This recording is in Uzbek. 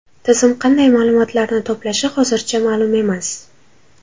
Tizim qanday ma’lumotlarni to‘plashi hozircha ma’lum emas.